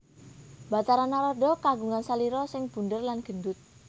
Bathara Narada kagungan salira sing bundér lan gendut